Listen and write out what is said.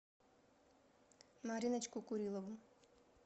мариночку курилову